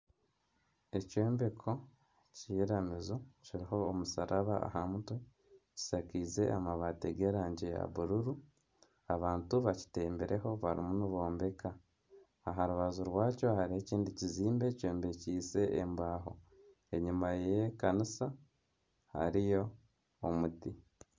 Ekyombeko ky'eiramizo kiriho omusharaba aha mutwe, kishakaize amabaati g'erangi ya bururu. Abantu bakitembireho barimu nibombeka, Aha rubaju rwakyo hariho ekindi kizimbe kyombekyeise embaaho. Enyima y'ekanisa hariyo omuti.